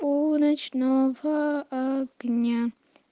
у ночного огня